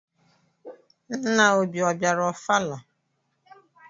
Nna Obi ọ bịara ọfala?